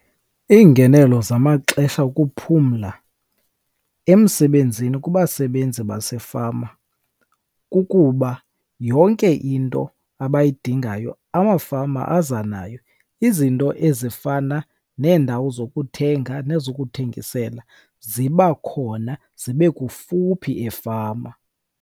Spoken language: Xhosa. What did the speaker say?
Iingenelo zamaxesha okuphumla emsebenzini kubasebenzi basefama kukuba yonke into abayidingayo amafama aza nayo. Izinto ezifana neendawo zokuthenga nezokuthengisela ziba khona zibe kufuphi efama.